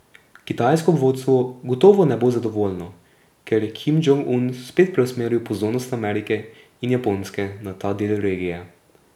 Kitajsko vodstvo gotovo ne bo zadovoljno, ker je Kim Džong Un spet preusmeril pozornost Amerike in Japonske na ta del regije.